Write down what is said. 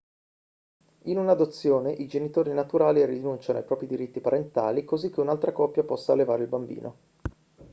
in un'adozione i genitori naturali rinunciano ai propri diritti parentali così che un'altra coppia possa allevare il bambino